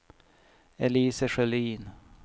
Elise Sjölin